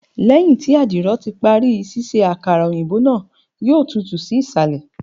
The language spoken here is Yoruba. Lẹhin ti adiro ti pari ṣiṣe akara oyinbo naa, yoo tutu si isalẹ